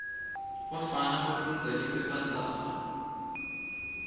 bafana bafundza liphephandzaba